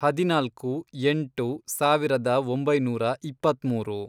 ಹದಿನಾಲ್ಕು, ಎಂಟು, ಸಾವಿರದ ಒಂಬೈನೂರ ಇಪ್ಪತ್ಮೂರು